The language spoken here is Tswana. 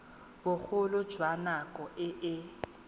bogolo jwa nako e e